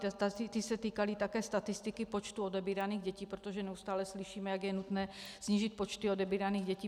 Ty se týkaly také statistiky počtu odebíraných dětí, protože neustále slyšíme, jak je nutné snížit počty odebíraných dětí.